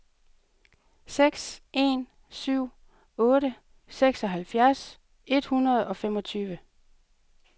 seks en syv otte seksoghalvfjerds et hundrede og femogtyve